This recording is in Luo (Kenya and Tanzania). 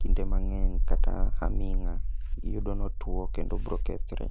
kinde mang'eny kata aming'a, iyudo notuo kendo obro kethre.